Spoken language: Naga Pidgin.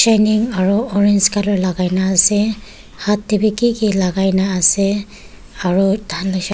around orange colour lagaigena ase haat tehwi kiki lagaigena ase aru dha--